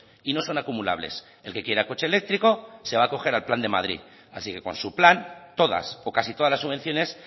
y no son acumulables el que quiera coche eléctrico se va acoger al plan de madrid así que con su plan todas o casi todas las subvenciones